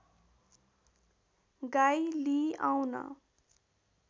गाई लिई आउन